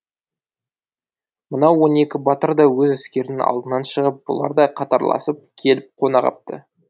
мынау он екі батыр да өз әскерінің алдынан шығып бұлар да қатарласып келіп қонағапты